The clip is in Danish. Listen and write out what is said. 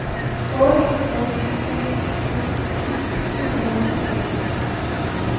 otte nul seks syv ti syv hundrede og seksoghalvtreds